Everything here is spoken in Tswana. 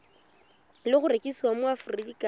le go rekisiwa mo aforika